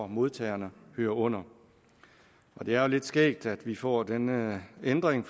modtagerne hører under det er jo lidt skægt at vi får denne ændring